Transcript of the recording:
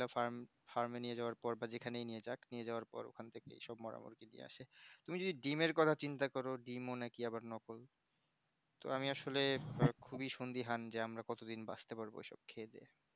farme এই নিয়ে যাওয়ার পর বা যেখানেই নিয়ে জাগ নিয়ে যাওয়ার পর ওখানে থেকেই সব মোরা মুরগি নিয়ে আসে তুমি যদি ডিম এর কথা চিন্তা করো ডিম ও নাকি আবার নকল তো আমি আসলে খুবই সুন্ধিহান যে আমরা কত দিন বাঁচতে পারবো এসব খেয়ে দিয়ে